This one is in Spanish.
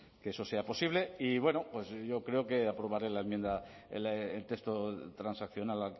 que eso sea posible y bueno pues yo creo que aprobaré la enmienda el texto transaccional